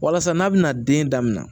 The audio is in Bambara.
Walasa n'a bɛna den daminɛ